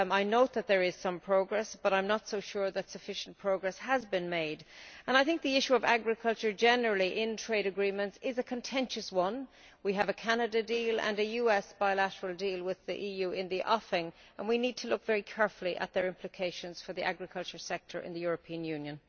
I note that there is some progress, but I am not so sure that sufficient progress has been made and the issue of agriculture in trade agreements generally is a contentious one. We have a Canada deal and a US bilateral deal with the EU in the offing, and we need to look very carefully at their implications for the agricultural sector in the European Union.